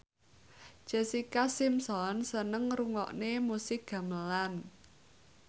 Jessica Simpson seneng ngrungokne musik gamelan